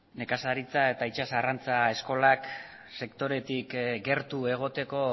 nekazaritza eta itsas arrantza eskolak sektoretik gertu egoteko